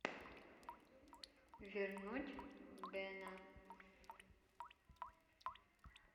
вернуть бена